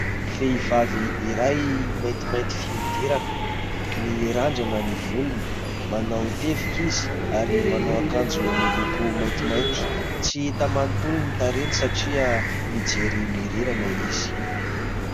Vehivavy iray maintimainty fihodirana mirandrana ny volony, manao tevika izy ary manao akanjo miloko maintimaity. Tsy hita manontolo ny tarehiny satria mijery mihorirana izy.